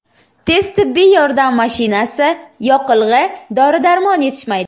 Tez tibbiy yordam mashinasi, yoqilg‘i, dori-darmon yetishmaydi.